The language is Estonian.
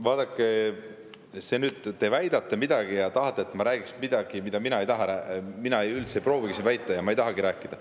Vaadake, te väidate midagi ja tahate, et ma räägiks midagi, mida mina üldse ei proovigi siin väita ja millest ma ei tahagi rääkida.